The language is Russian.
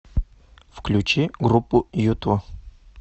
включи группу юту